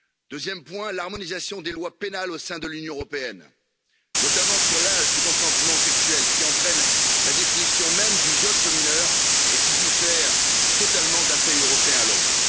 Deuxième point l'harmonisation des lois pénales au sein de l'Union européenne, notamment sur l'âge du consentement sexuel, qui entraîne la définition même du viol sur mineur et diffère totalement d'un pays européen à l'autre.